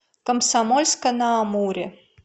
комсомольска на амуре